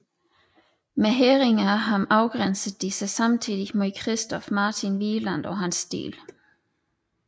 Med hædringen af ham afgrænsede de sig samtidig mod Christoph Martin Wieland og hans stil